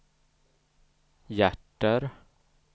hjärter